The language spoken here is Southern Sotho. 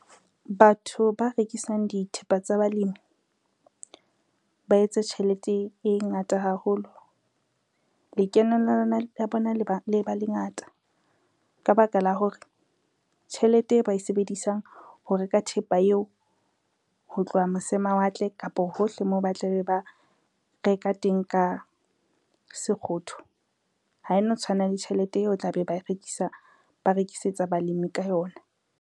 Batho ba rekisang dithepa tsa balemi, ba etse tjhelete e ngata haholo. Lekeno la bona le ba lengata ka ba ka la hore, tjhelete e ba e sebedisang ho reka thepa eo, ho tloha mose mawatle kapo hohle moo ba tla be ba reka teng ka sekgotho ha e no tshwana le tjhelete eo tla be ba rekisetsa balemi ka yona.